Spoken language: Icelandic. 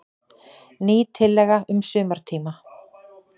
Ný tillaga um sumartíma.